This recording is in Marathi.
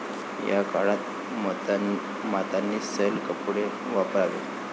या काळात मातांनी सैल कपडे वापरावेत.